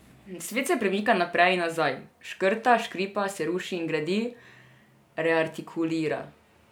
Svet se premika naprej in nazaj, škrta, škripa, se ruši in gradi, reartikulira.